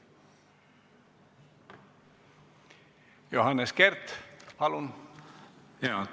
Johannes Kert, palun!